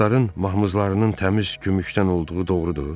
Atların mahmuzlarının təmiz gümüşdən olduğu doğrudur?